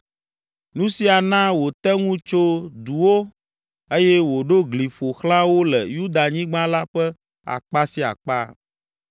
Nu sia na wòte ŋu tso duwo eye wòɖo gli ƒo xlã wo le Yudanyigba la ƒe akpa sia akpa.